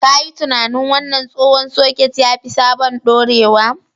Ka yi tunanin! Wannan tsohon soket ya fi sabon dorewa.